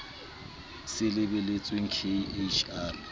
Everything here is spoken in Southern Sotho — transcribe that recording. se lebelletsweng k h r